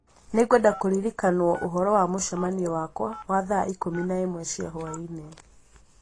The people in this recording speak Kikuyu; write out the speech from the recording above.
Nĩngwenda kũririkanwo ũhoro wa mũcemanio wakwa wa thaa ikũmi na ĩmwe cia hwaĩ-inĩ